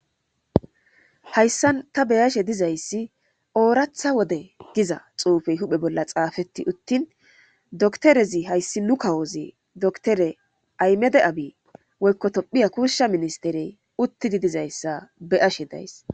hayssan ta beyashe dizayssi ooratha wode giza xuufey huphe bolla xaafetti uttin doktorezi hayssi nu kawoze doktere aymede abi woykko tophiya kushsha ministerey uttidi dizayssa be ashe days.